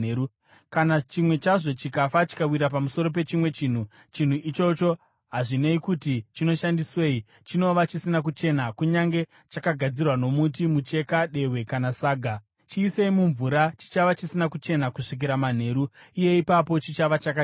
Kana chimwe chazvo chikafa, chikawira pamusoro pechimwe chinhu, chinhu ichocho hazvinei kuti chinoshandiswei, chinova chisina kuchena kunyange chakagadzirwa nomuti, mucheka, dehwe, kana saga. Chiisei mumvura; chichava chisina kuchena kusvikira manheru, uye ipapo chichava chakachena.